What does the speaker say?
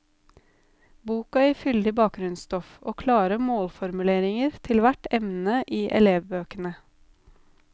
Boka gir fyldig bakgrunnsstoff og klare målformuleringer til hvert emne i elevbøkene.